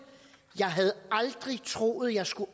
jeg havde aldrig troet jeg skulle